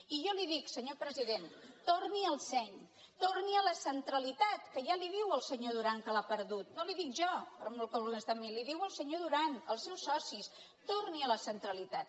i jo li ho dic senyor president torni al seny torni a la centralitat que ja li ho diu el senyor duran que l’ha perdut no li ho dic jo li ho diu el senyor duran els seus socis torni a la centralitat